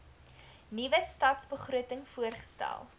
nuwe stadsbegroting voorgestel